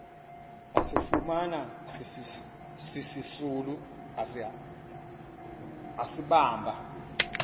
asifumana sisisulu asibamba